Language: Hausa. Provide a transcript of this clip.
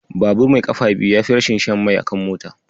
Babur mai ƙafa biyu yafi rashin shan mai akan mota.